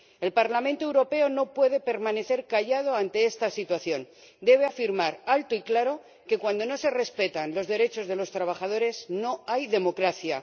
El Parlamento Europeo no puede permanecer callado ante esta situación, debe afirmar alto y claro que cuando no se respetan los derechos de los trabajadores, no hay democracia.